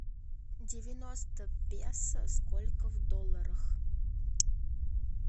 девяносто песо сколько в долларах